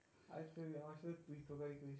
আচ্ছা তুই আমার সাথে তুই তুকারি করিস.